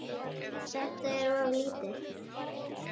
Þetta er of lítið.